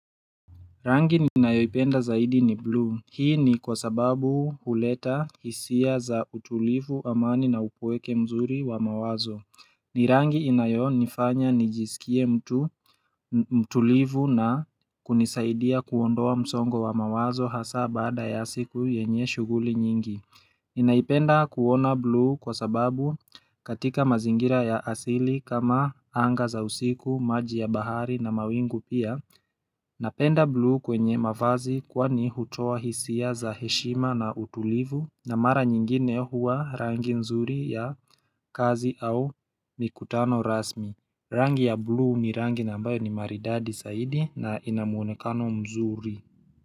Rangi ninaipenda zaidi ni blue, hii ni kwa sababu uleta hisia za utulivu amani na upoeke mzuri wa mawazo ni rangi inayo nifanya nijisikie mtu, mtulivu na kunisaidia kuondoa msongo wa mawazo hasa baada ya siku yenye shughuli nyingi Inaipenda kuona blue kwa sababu katika mazingira ya asili kama anga za usiku, maji ya bahari na mawingu pia Napenda blue kwenye mafazi kwani huchoa hisia za heshima na utulivu na mara nyingine huwa rangi nzuri ya kazi au mikutano rasmi Rangi ya blue ni rangi nambayo ni maridadi saidi na inamuonekano mzuri.